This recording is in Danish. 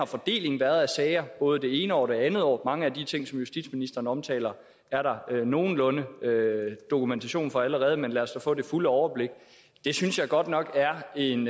fordelingen af sager har både det ene år og det andet år mange af de ting som justitsministeren omtaler er der nogenlunde dokumentation for allerede men lad os da få det fulde overblik det synes jeg godt nok er en